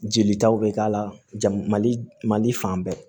Jelitaw bɛ k'a la mali mali fan bɛɛ